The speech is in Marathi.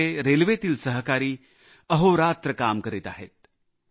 आमचे रेल्वेतील सहकारी अहोरात्र काम करीत आहेत